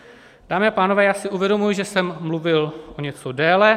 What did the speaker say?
Dámy a pánové, já si uvědomuji, že jsem mluvil o něco déle.